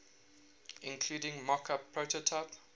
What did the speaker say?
including mockup prototype